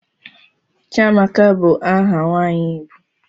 Chiamaka bu aha nwanyi igbo.